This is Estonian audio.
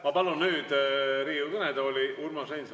Ma palun nüüd Riigikogu kõnetooli Urmas Reinsalu.